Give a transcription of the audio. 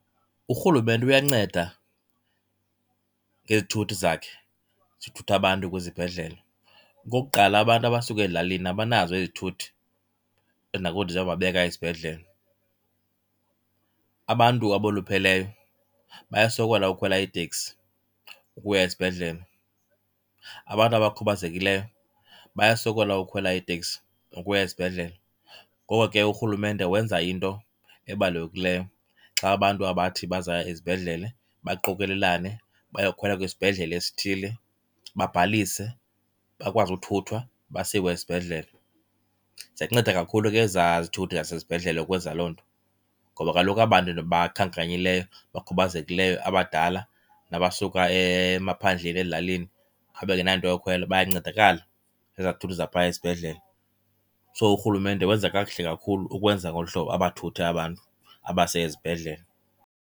Urhulumente uyanceda ngezithuthi zakhe ezithutha abantu kwizibhedlele. Okokuqala, abantu abasuka ezilalini abanazo izithuthi ezinakuthi ziyobabeka esibhedlele. Abantu abolupheleyo bayasokola ukhwela iiteksi ukuya esibhedlele, abantu abakhubazekileyo bayasokola ukhwela iiteksi ukuya esibhedlele. Ngoko ke urhulumente wenza into ebalulekileyo xa abantu abathi bazaya ezibhedlele baqokolelane bayokhwela kwisibhedlele esithile, babhalise bakwazi ukuthuthwa basiwe esibhedlele. Ziyanceda kakhulu ke ezaa zithuthi zasesibhedlele ukwenza loo nto. Ngoba kaloku aba bantu ndibakhankanyileyo, bakhubazekileyo, abadala nabasuka emaphandleni ezilalini abangenanto yokhwela bayancedakala zezaa zithuthi zaphaya esibhedlele. So urhulumente wenza kakuhle kakhulu ukwenza ngolu hlobo abathuthe abantu abase ezibhedlele.